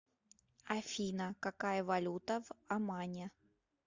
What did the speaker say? афина какая валюта в омане